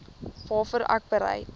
waarvoor ek bereid